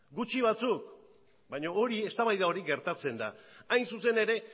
gutxi batzuk baina hori eztabaida hori gertatzen da hain zuzen ere